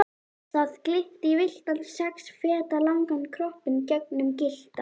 Það glitti í villtan sex feta langan kroppinn gegnum gyllta